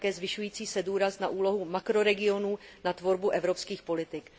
také zvyšující se důraz na úlohu makroregionů na tvorbu evropských politik.